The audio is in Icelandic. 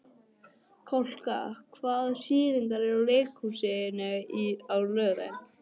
Kolka, hvaða sýningar eru í leikhúsinu á laugardaginn?